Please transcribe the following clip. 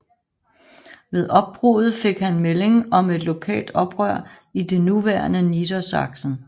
Ved opbruddet fik han melding om et lokalt oprør i det nuværende Niedersachsen